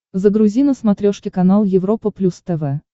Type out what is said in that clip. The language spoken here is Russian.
загрузи на смотрешке канал европа плюс тв